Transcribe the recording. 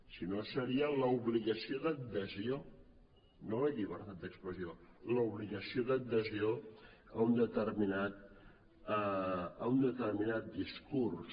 si no seria l’obligació d’adhesió no la llibertat d’expressió l’obligació d’adhesió a un determinat discurs